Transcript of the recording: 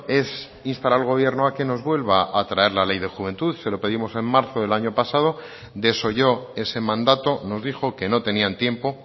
es instar al gobierno a que nos vuelva a traer la ley de juventud se lo pedimos en marzo del año pasado desoyó ese mandato nos dijo que no tenían tiempo